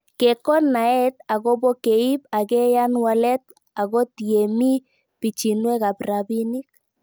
Kekon naet akopo keip akeyan walet akot yee mii pichinwek ab rabinik